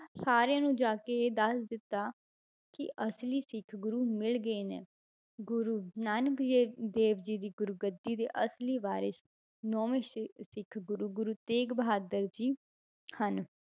ਸਾਰਿਆਂ ਨੂੰ ਜਾ ਕੇ ਇਹ ਦੱਸ ਦਿੱਤਾ ਕਿ ਅਸਲੀ ਸਿੱਖ ਗੁਰੂ ਮਿਲ ਗਏ ਨੇ ਗੁਰੂ ਨਾਨਕ ਜੇ~ ਦੇਵ ਜੀ ਦੀ ਗੁਰੂਗੱਦੀ ਦੇ ਅਸਲੀ ਵਾਰਿਸ਼ ਨੋਵੇਂ ਸ੍ਰੀ ਸਿੱਖ ਗੁਰੂ ਗੁਰੂ ਤੇਗ ਬਹਾਦਰ ਜੀ ਹਨ